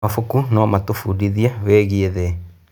Mabuku no matũbundithie wĩgiĩ thĩ.